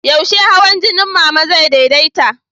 Yaushe hawan jinin Mama zai daidaita?